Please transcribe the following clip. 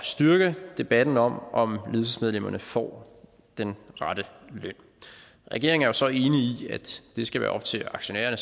styrke debatten om om ledelsesmedlemmerne får den rette løn regeringen er så enig i at det skal være op til aktionærerne